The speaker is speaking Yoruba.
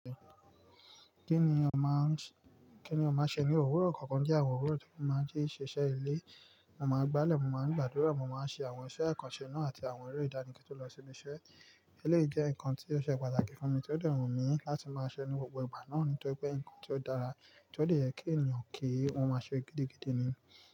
Kí ni ọ máa ń ṣe ní òwúrọ̀? Kọ̀kan jẹ́ àwọn òwúrọ̀ tí mo máa ń jí ṣiṣẹ́ ilé. Mo máa ń gbálẹ̀, mo máa ń gbàdúrà, mo máa ń ṣe àwọn iṣẹ́ ìkànṣe náà àti àwọn eré ìdáni kí ó lọ síbi iṣẹ́. Eleyi je nǹkan tí ó ṣe pàtàkì fún mi, tí ó de wun mí láti máa ṣẹ ní gbogbo ìgbà náà ni tóri pé nǹkan tí ó dára tí ó dè ye kí ènìyàn kí, won máa ṣe gidigidi ni.